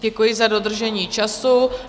Děkuji za dodržení času.